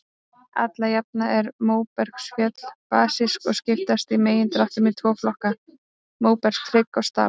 Alla jafna eru móbergsfjöll basísk og skiptast í megindráttum í tvo flokka, móbergshryggi og stapa.